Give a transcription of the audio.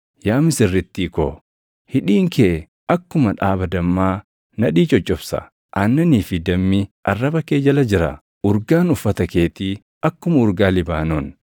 Yaa misirrittii ko, hidhiin kee akkuma dhaaba dammaa nadhii coccobsa; aannanii fi dammi arraba kee jala jira. Urgaan uffata keetii akkuma urgaa Libaanoon.